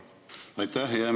Aitäh!